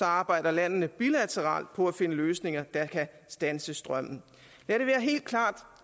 arbejder landene bilateralt på at finde løsninger der kan standse strømmen lad det være helt klart